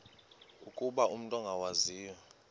ukuba umut ongawazivo